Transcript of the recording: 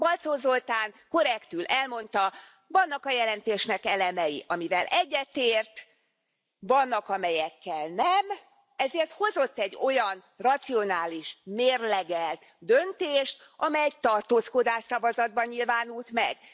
Balczó Zoltán korrektül elmondta, vannak a jelentésnek elemei, amivel egyetért, vannak, amelyekkel nem, ezért hozott egy olyan racionális, mérlegelt döntést, amely tartózkodás szavazatban nyilvánult meg.